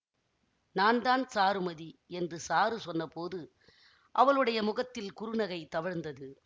நான் தான் சாருமதி என்று சாரு சொன்னபோது அவளுடைய முகத்தில் குறுநகை தவழ்ந்தது